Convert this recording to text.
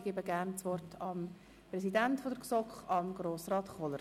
Ich gebe das Wort dem Präsidenten der GSoK, Grossrat Kohler.